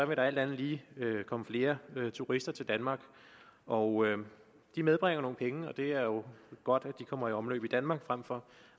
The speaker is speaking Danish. vil der alt andet lige komme flere turister til danmark og de medbringer nogle penge og det er jo godt at de kommer i omløb i danmark frem for